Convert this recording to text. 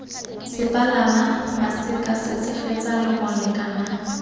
sepalaka maseka setshegetsa lengole kana